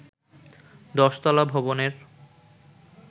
১০ তলা ভবনের